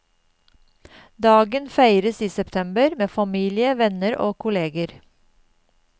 Dagen feires i september med familie, venner og kolleger.